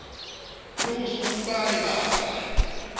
le ho se utlwane bara